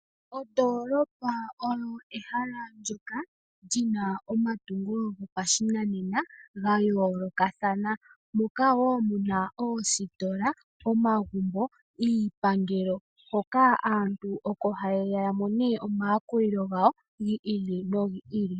Ondoolopa oyo ehala ndyoka lyina omatungo gopashinanena gayoolokathana, moka woo muna oositola, omagumbo, iipangelo, hoka aantu oko hayeya yamone omayakulilo gawo giili nogiili.